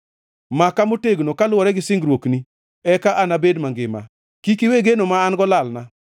Maka motegno kaluwore gi singruokni, eka anabed mangima; kik iwe geno ma an-go lalna.